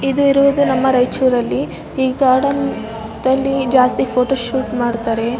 ಇದು ಇರುವುದು ನಮ್ಮ ರೈಚೂರ್ ಈ ಗಾರ್ಡನ್ ಅಲ್ಲಿ ಹೆಚ್ಚು ಫೋಟೋ ಶೂಟ್ ಮಾಡ್ತಾರೆ.